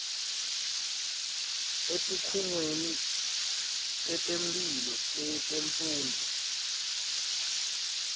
etikhungweni tetemphilo netemfundvo